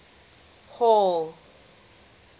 hall